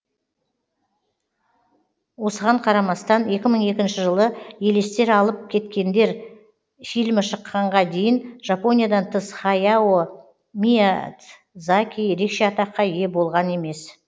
осыған қарамастан екі мың екінші жылы елестер алып кеткендер фильмі шыққанға дейін жапониядан тыс хаяо миядзаки ерекше атаққа ие болған емес